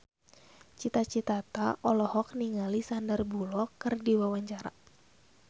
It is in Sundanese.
Cita Citata olohok ningali Sandar Bullock keur diwawancara